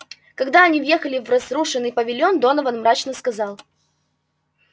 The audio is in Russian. когда они въехали в разрушенный павильон донован мрачно сказал